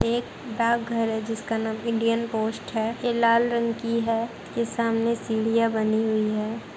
ये एक डाकघर है जिसका नाम इंडियन पोस्ट है ये लाल रंग की है ये सामने सीढ़ियां बनी हुयीँ हैं।